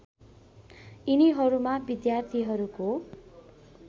यिनीहरूमा विद्यार्थीहरूको